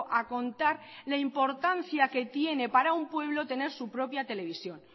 a contar la importancia que tiene para un pueblo tener su propia televisión